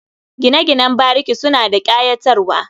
Gine-ginen bariki suna da ƙayatarwa.